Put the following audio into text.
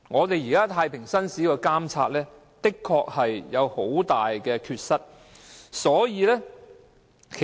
現時太平紳士的監察制度，的確有很大缺失。